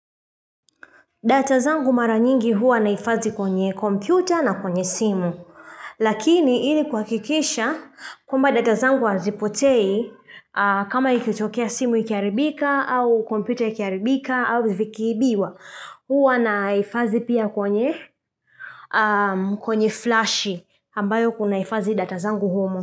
Data zangu mara nyingi huwa nahifadhi kwenye kompyuta na kwenye simu Lakini ili kuhakikisha kwamba data zangu hazipotei kama ikitokea simu ikiharibika au kompyuta ikiharibika au vikiibiwa huwa naifadhi pia kwenye kwenye flash ambayo kunahifadhi data zangu humo.